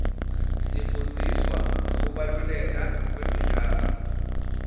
sifundziswa ngekubaluleka kwemidlalo